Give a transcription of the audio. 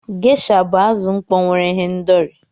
Gesha bụ azụ mkpọ nwere ihendori.